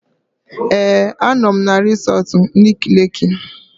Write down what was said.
Ee, anọ m na resọtu Nike Leeki